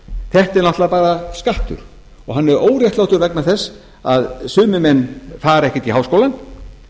þetta er náttúrlega bara skattur og hann er óréttlátur vegna þess að sumir menn fara ekkert í háskólann